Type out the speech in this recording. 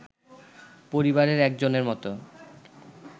পরিবারের একজনের মত